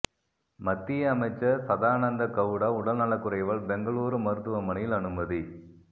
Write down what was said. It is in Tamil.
மத்திய அமைச்சர் சதானந்த கவுடா உடல் நலக்குறைவால் பெங்களூரு மருத்துவமனையில் அனுமதி